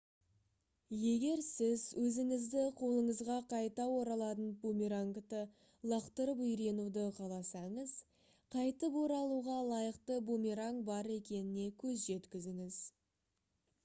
егер сіз өзіңіздің қолыңызға қайта оралатын бумерангты лақтырып үйренуді қаласаңыз қайтып оралуға лайықты бумеранг бар екеніне көз жеткізіңіз